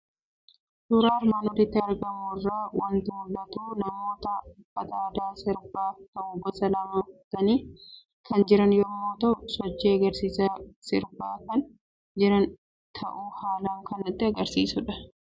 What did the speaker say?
Suuraa armaan olitti argamu irraa waanti mul'atu; namoota uffata aadaa sirbaaf ta'u gosa lamaan uffatanii kan jiran yommuu ta'u, sochii agarsiisa kan sirbaa jiran jiran ta'uu haalan kan nutti agarsiisudha.